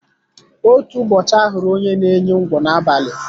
Otú ụbọchị ahụrụ onye n'enyi ńgwọ n'abali